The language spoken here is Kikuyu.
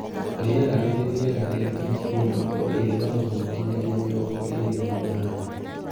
Rĩera rĩrĩ rĩega rĩa digrii mĩrongo ĩrĩ na ĩmwe nginyagia mĩrongo ĩrĩ na ĩnyanya